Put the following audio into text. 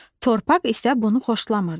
Torpaq isə bunu xoşlamırdı.